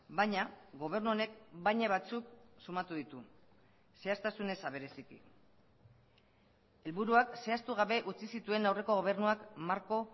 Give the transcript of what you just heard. baina gobernu honek baina batzuk sumatu ditu zehaztasun eza bereziki helburuak zehaztu gabe utzi zituen aurreko gobernuak marko